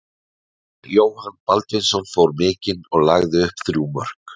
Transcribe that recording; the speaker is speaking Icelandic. Marel Jóhann Baldvinsson fór mikinn og lagði upp þrjú mörk.